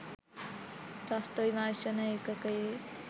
ත්‍රස්ත විමර්ශන ඒකකයේ